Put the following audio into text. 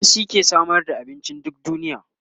noma shi ke Samar da abinci duk faɗin duniya